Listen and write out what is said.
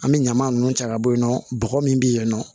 An bɛ ɲama ninnu cɛ ka bɔ yen nɔ bɔgɔ min bɛ yen nɔ